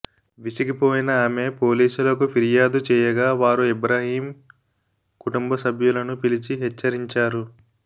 విసిగిపోయిన ఆమె పోలీసులకు ఫిర్యాదు చేయగా వారు ఇబ్రహీం కుటుంబ సభ్యులను పిలిచి హెచ్చరించారు